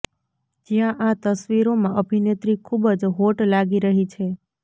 જ્યાં આ તસ્વીરોમાં અભિનેત્રી ખૂબ જ હોટ લાગી રહી છે